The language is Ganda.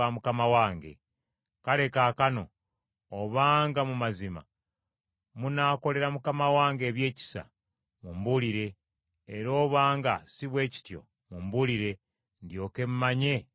Kale kaakano obanga mu mazima munaakolera mukama wange ebyekisa, mumbuulire, era obanga si bwe kityo mumbuulire; ndyoke mmanye eky’okukola.”